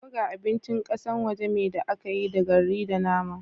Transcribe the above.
Burger abincin kasan waje me da aka yi da garri da nama.